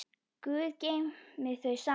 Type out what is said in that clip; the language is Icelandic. Guð geymi þau saman.